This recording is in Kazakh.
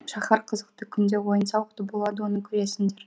шаһар қызықты күнде ойын сауық болады оны көресіңдер